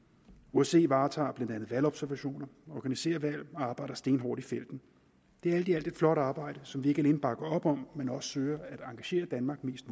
osce varetager blandt andet valgobservationer organiserer valg og arbejder stenhårdt i felten det er alt i alt et flot arbejde som vi ikke alene bakker op om men også søger at engagere danmark mest